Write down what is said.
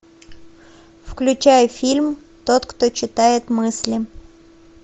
включай фильм тот кто читает мысли